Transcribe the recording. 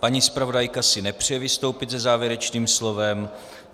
Paní zpravodajka si nepřeje vystoupit se závěrečným slovem.